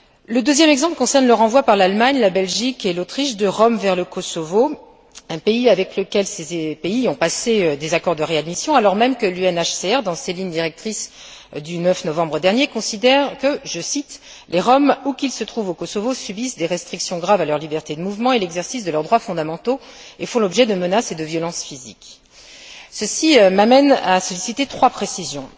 Le deuxième exemple concerne le renvoi par l'Allemagne, la Belgique et l'Autriche de Roms vers le Kosovo, avec lequel ces pays ont passé des accords de réadmission alors même que le HCR, dans ses lignes directrices du 9 novembre dernier, considère que, je cite, les Roms, où qu'ils se trouvent au Kosovo, subissent des restrictions graves à leur liberté de mouvement et à l'exercice de leurs droits fondamentaux et font l'objet de menaces et de violences physiques. Ceci m'amène à solliciter trois précisions.